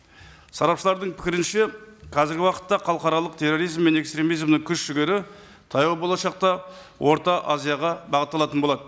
сарапшылардың пікірінше қазіргі уақытта халықаралық терроризм мен экстремизмнің күш жігері таяу болашақта орта азияға бағытталатын болады